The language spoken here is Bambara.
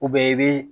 i bi